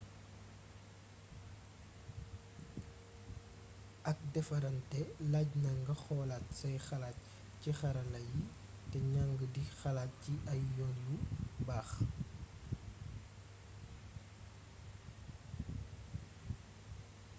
ak défaranté laajna nga xolaat say xalaat ci xarala yi té njang di xalaat ci ay yoon yu baax